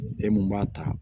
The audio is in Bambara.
E mun b'a ta